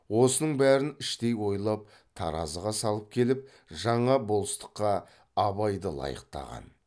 осының бәрін іштей ойлап таразыға салып келіп жаңа болыстыққа абайды лайықтаған